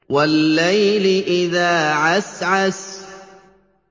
وَاللَّيْلِ إِذَا عَسْعَسَ